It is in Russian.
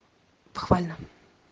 похвально